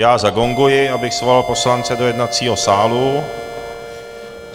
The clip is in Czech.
Já zagonguji, abych svolal poslance do jednacího sálu.